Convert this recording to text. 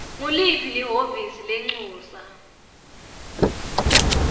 nguliphi lihhovisi lelincusa